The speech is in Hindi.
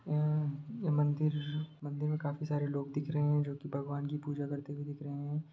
उम्म ये मंदिर मंदिर में काफी सारे लोग दिख रहे हैं जोकि भगवान की पूजा करते हुए दिख रहे हैं।